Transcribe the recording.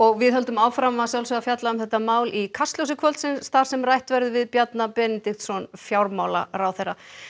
við höldum áfram að fjalla um þetta mál í Kastljósi kvöldsins þar sem rætt verður við Bjarna Benediktsson fjármálaráðherra